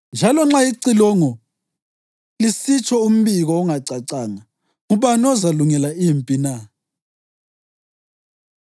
Njalo nxa icilongo lisitsho umbiko ongacacanga, ngubani ozalungela impi na?